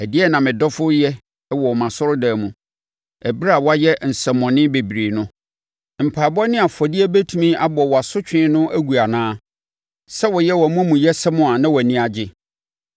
“Ɛdeɛn na medɔfo reyɛ wɔ mʼasɔredan mu ɛberɛ a wayɛ nsɛmmɔne bebree no? Mpaeɛbɔ ne afɔdeɛ bɛtumi abɔ wʼasotwe no agu anaa? Sɛ woyɛ wʼamumuyɛsɛm a na wʼani agye.”